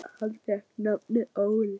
Hann fékk nafnið Óli.